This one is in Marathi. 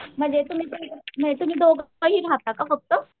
म्हणजे तुम्ही म्हणजे तुमी दोघही रहाता का फक्त?